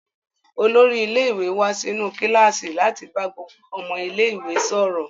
Olórí ilé-ìwé wá sínú kíláàsì láti bá gbogbo ọmọ ilé-ìwé sọ̀rọ̀.